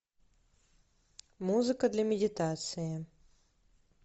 музыка для медитации